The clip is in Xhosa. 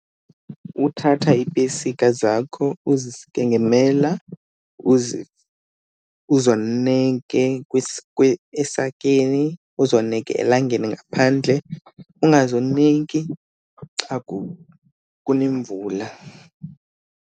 Uthatha iipesika zakho uzisike ngemela, uzoneke esakeni, uzoneke elangeni ngaphandle, ungazoneki xa kunemvula.